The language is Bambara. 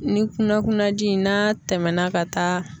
Ni kunna kunnaji n'a tɛmɛna ka taa